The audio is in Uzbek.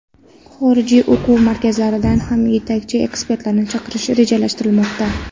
Xorij o‘quv markazlaridan ham yetakchi ekspertlarni chaqirish rejalashtirilmoqda.